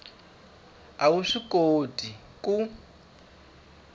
a wu swi koti ku